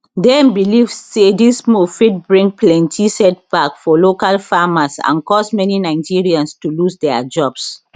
dem believe say dis move fit bring plenty setback for local farmers and cause many nigerians to lose dia jobs